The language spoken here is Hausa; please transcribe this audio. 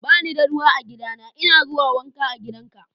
Ba ni da ruwa a gidana. N'na a zuwa wanka a gidan ka.